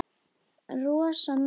Rosa næs.